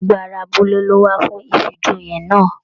Gbogbo ará abúlé lo wá fún ifíjòyè náà.